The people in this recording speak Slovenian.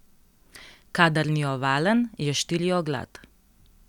Kadar ni ovalen, je štirioglat.